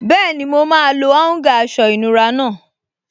Bẹ́ẹ̀ni, mo máa lo áúngà aṣọ ìnura náà